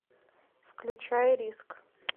включай риск